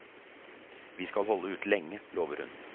Vi skal holde ut lenge, lover hun.